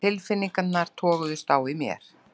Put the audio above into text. Tilfinningarnar toguðust á í mér.